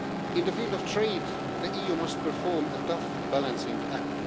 In the field of trade, the EU must perform a tough balancing act.